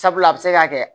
Sabula a bɛ se ka kɛ